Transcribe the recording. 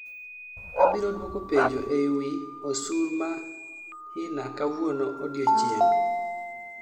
Abiro duoko penjo ei wii osur ma hina kawuono odienchieng'